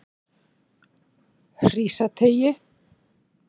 Hrísateigi